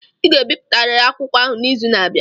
ị ga-ebipụtariri akwụkwọ ahụ n'izu na-abịa!